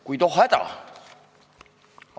Kuid oh häda!